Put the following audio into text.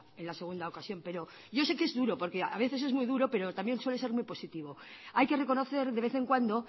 en la segunda ocasión pero yo sé que es duro porque a veces es muy duro pero también suele ser muy positivo hay que reconocer de vez en cuando